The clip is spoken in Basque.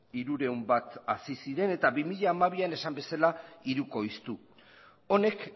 hirurehun bat hasi ziren eta bi mila hamabian esan bezala hirukoiztu honek